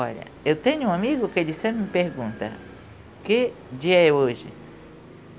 Olha, eu tenho um amigo que ele sempre me pergunta, que dia é hoje?